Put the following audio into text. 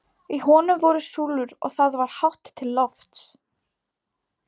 Í honum voru súlur og það var hátt til lofts.